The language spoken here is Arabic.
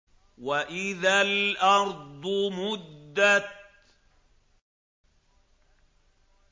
وَإِذَا الْأَرْضُ مُدَّتْ